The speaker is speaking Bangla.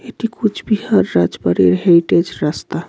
এটি কুচবিহার রাজবাড়ির হেরিটেজ রাস্তা।